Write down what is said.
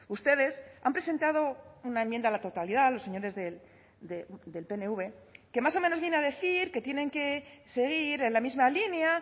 ustedes han presentado una enmienda a la totalidad los señores del pnv que más o menos viene a decir que tienen que seguir en la misma línea